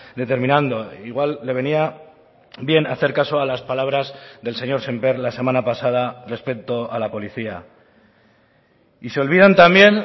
determinando igual le venía bien hacer caso a las palabras del señor sémper la semana pasada respecto a la policía y se olvidan también